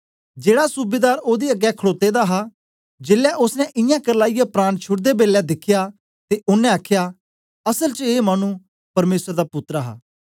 जेड़ा सूबेदार ओदे अगें खडोते दा हा जेलै ओसने इयां करलाईयै प्राण छुड़दे बेलै दिखया ते ओनें आखया असल च ए मानु परमेसर दा पुत्तर हां